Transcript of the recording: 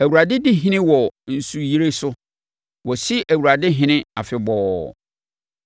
Awurade di ɔhene wɔ nsuyire so; wɔasi Awurade ɔhene afebɔɔ.